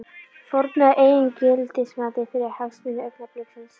Fórnaði eigin gildismati fyrir hagsmuni augnabliksins.